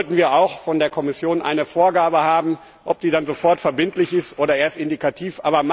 Da sollten wir auch von der Kommission eine Vorgabe haben, sei sie nun sofort verbindlich oder erst indikativ.